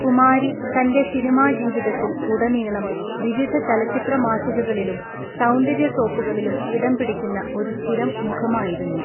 കുമാരി തന്‍റെ സിനിമാ ജീവിതത്തില്‍ ഉടനീളം വിവിധ ചലച്ചിത്ര മാസികകളിലും സൗന്ദര്യ സോപ്പുകളിലും ഇടംപിടിക്കുന്ന ഒരു സ്ഥിരം മുഖമായിരുന്നു.